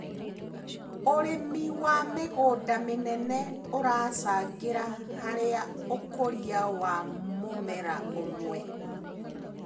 ũrĩmi wa mĩgũnda mĩnene ũracangĩra harĩ ũkũria wa mũmera ũmwe.